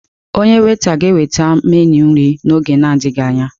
Onye weta ga-eweta meenụ nri n'oge na adịghị anya.